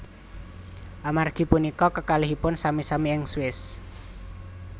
Amargi punika kekalihipun sami sami ing Swiss